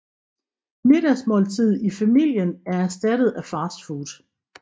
Middagsmåltidet i familien er erstattet af fast food